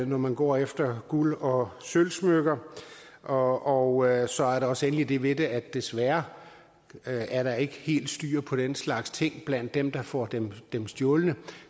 når man går efter guld og sølvsmykker og og så er der også endelig det ved det at desværre er der ikke helt styr på den slags ting blandt dem der får dem dem stjålet